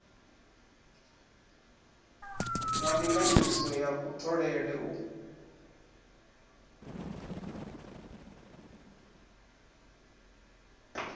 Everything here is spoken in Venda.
wa ndinganyiso ya kutholele u